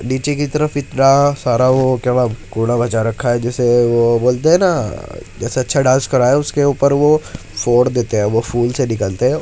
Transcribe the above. नीचे की तरफ इतना सारा वो क्या व घोडा बचा रखा है जैसे वो बोलते है न जैसे अच्छा डांस करा है उसके ऊपर फोड़ देते है वो फूल से निकलते हैं।